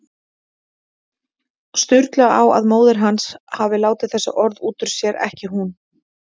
Sturlu á að móðir hans hafi látið þessi orð út úr sér, ekki hún.